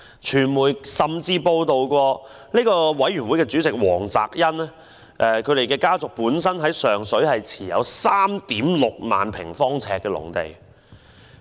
傳媒甚至報道，委員會主席黃澤恩家族於上水持有 36,000 萬平方呎的農地。